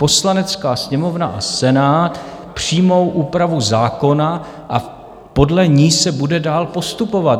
Poslanecká sněmovna a Senát přijmou úpravu zákona a podle ní se bude dál postupovat.